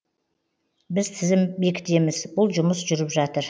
біз тізім бекітеміз бұл жұмыс жүріп жатыр